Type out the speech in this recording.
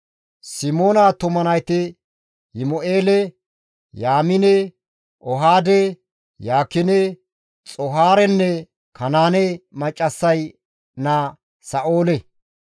Simoona attuma nayti Yimu7eele, Yaamine, Ohaade, Yaakine, Xoohaarenne Kanaane maccassay naa Sa7oole.